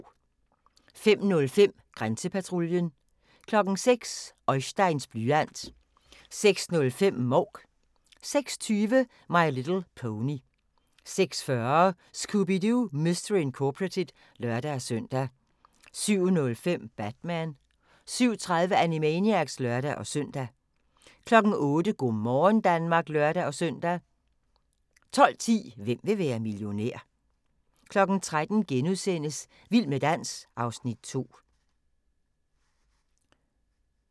05:05: Grænsepatruljen 06:00: Oisteins blyant 06:05: Mouk 06:20: My Little Pony 06:40: Scooby-Doo! Mystery Incorporated (lør-søn) 07:05: Batman 07:30: Animaniacs (lør-søn) 08:00: Go' morgen Danmark (lør-søn) 12:10: Hvem vil være millionær? 13:00: Vild med dans (Afs. 2)*